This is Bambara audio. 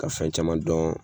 Ka fɛn caman dɔn